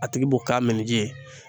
A tigi b'o k'a minni ji ye.